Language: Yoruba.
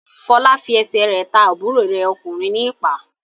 Fọlá fi ẹsẹ̀ rẹ̀ ta àbúrò rẹ̀ ọkùnrin ní ìpá.